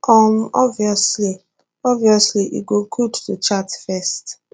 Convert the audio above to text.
um obviously obviously e go good to chat first